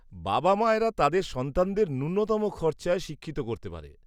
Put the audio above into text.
-বাবা মায়েরা তাদের সন্তানদের ন্যূনতম খরচে শিক্ষিত করতে পারে।